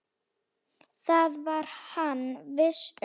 Það var hann viss um.